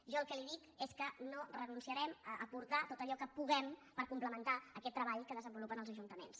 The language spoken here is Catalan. jo el que li dic és que no renunciarem a aportar tot allò que puguem per complementar aquest treball que desenvolupen els ajuntaments